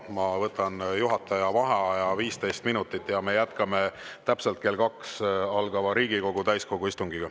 Ma võtan juhataja vaheaja 15 minutit ja me jätkame täpselt kell 2 algava Riigikogu täiskogu istungiga.